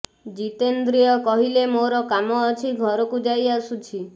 ଜିତେନ୍ଦ୍ରିୟ କହିଲେ ମୋର କାମ ଅଛି ଘରକୁ ଯାଇ ଆସୁଛି